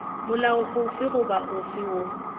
molao ofe goba ofe woo